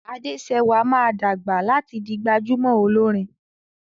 Adesewa má dàgbà láti dì gbajúmò Olorin